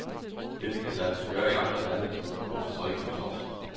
Dette kan lade sig gøre i andre lande, hvorfor så ikke hos os.